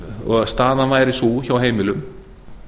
og staðan væri sú hjá heimilum